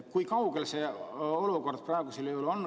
Kui kaugel see teema praegu on?